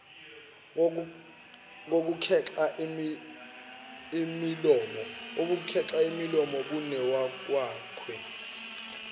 kokukhexa imilomo benowakwakhe